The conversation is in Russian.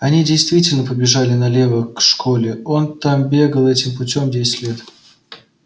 они действительно побежали налево к школе он там бегал этим путём десять лет